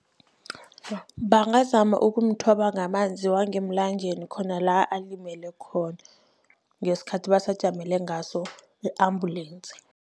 Bangazama ukumthoba ngamanzi wangemlanjeni khona la alimele khona, ngesikhathi basajamele ngaso i-ambulensi.